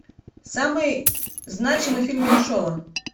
самый значимый фильм меньшова